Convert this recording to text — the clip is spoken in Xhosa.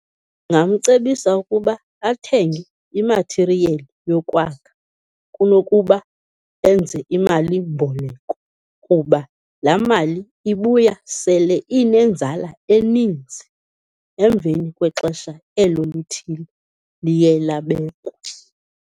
Ndingamcebisa ukuba athenge i-material yokwakha kunokuba enze imalimboleko, kuba laa mali ibuya sele inenzala eninzi emveni kwexesha elo lithile liye labekwa.